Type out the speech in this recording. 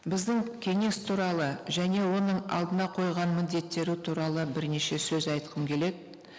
біздің кеңес туралы және оның алдына қойған міндеттері туралы бірнеше сөз айтқым келеді